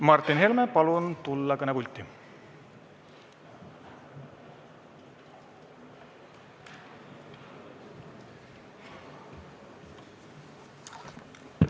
Martin Helme, palun tulla kõnepulti!